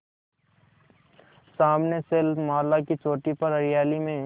सामने शैलमाला की चोटी पर हरियाली में